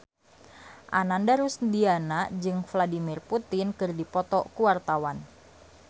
Ananda Rusdiana jeung Vladimir Putin keur dipoto ku wartawan